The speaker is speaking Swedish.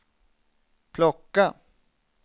plocka